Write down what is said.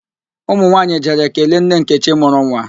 Ụmụ nwaanyị jere kelee nne nkechi mụrụ nwa